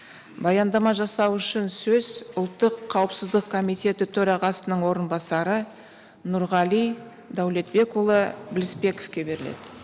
баяндама жасау үшін сөз ұлттық қауіпсіздік комитеті төрағасының орынбасары нұрғали дәулетбекұлы білісбековке беріледі